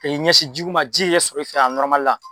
Ka i ɲɛsin ji ko ma, ji ye i sɔrɔ i fɛ yan la